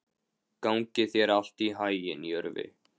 Gangi þér allt í haginn, Jörvi.